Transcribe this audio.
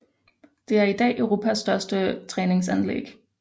Det er idag Europas største træningsanlæg